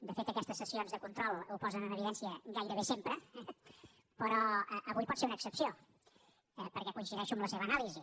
de fet aquestes sessions de control ho posen en evidència gairebé sempre eh però avui pot ser una excepció perquè coincideixo amb la seva anàlisi